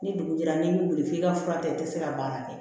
Ni dugu jɛra n'i m'i wuli k'i ka fura ta i tɛ se ka baara kɛ